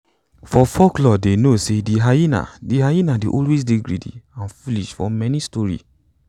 for folklore dey know sey de hyena de hyena dey always dey greedy and foolish for many story